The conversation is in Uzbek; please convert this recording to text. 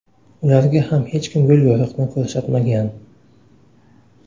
Ularga ham hech kim yo‘l-yo‘riqni ko‘rsatmagan.